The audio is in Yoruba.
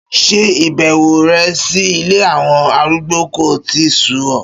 Ṣé ìbẹ̀wò rẹ sí ilé àwọn arúgbó kò tíì sú ọ.